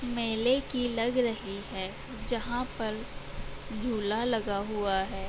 मेले की लग रही है जहाँ पर झूला लगा हुआ है ।